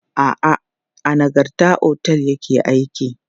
A'a, a Nagarta otel ya ke aiki.